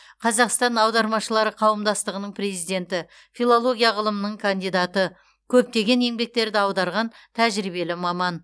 қазақстан аудармашылары қауымдастығының президенті филология ғылымының кандидаты көптеген еңбектерді аударған тәжірибелі маман